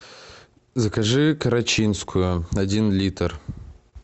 закажи карачинскую один литр